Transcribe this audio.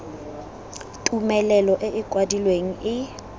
tumelelo e e kwadilweng e